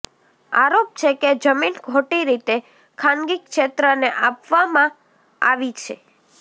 આરોપ છે કે જમીન ખોટી રીતે ખાનગી ક્ષેત્રને આપવામાં આવી છે